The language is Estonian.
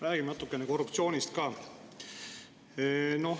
Räägime natukene korruptsioonist ka.